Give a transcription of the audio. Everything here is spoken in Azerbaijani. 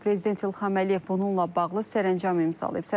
Prezident İlham Əliyev bununla bağlı sərəncam imzalayıb.